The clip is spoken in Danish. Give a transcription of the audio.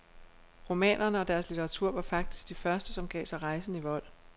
Romanerne og deres litteratur var faktisk de første som gav sig rejsen i vold.